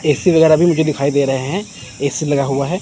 AC वगैरा मुझे दिखाई दे रहे है ए_सी लगा हुआ है।